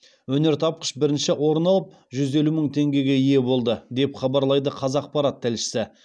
өнертапқыш бірінші орын алып жүз елу мың теңгеге ие болды деп хабарлайды қазақпарат тілшісі